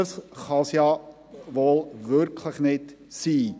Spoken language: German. Das kann wohl kaum die Idee sein.